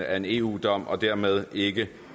af en eu dom og dermed ikke